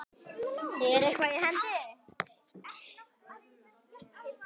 Er eitthvað í hendi?